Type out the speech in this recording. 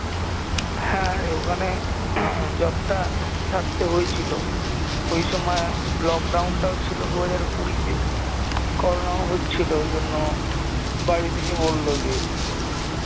হ্যাঁ ওখানে job টা ছাড়তে হয়েছিলো ওই সময় lock down টাও ছিলো দুই হাজার কুড়িতে কোরনাও হচ্ছিলো ঐজন্য বাড়ি থেকে বল্লো যে